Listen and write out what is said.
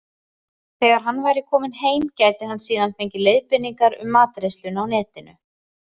Þegar hann væri kominn heim gæti hann síðan fengið leiðbeiningar um matreiðsluna á Netinu.